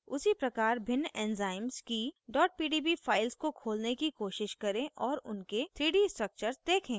उसी प्रकार भिन्न enzymes की pdb files को खोलने की कोशिश करें और उनके 3d structures देखें